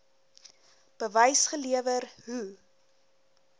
bewys gelewer hoe